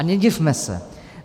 A nedivme se.